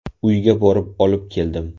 Uyga borib olib keldim.